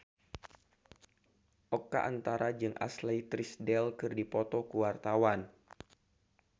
Oka Antara jeung Ashley Tisdale keur dipoto ku wartawan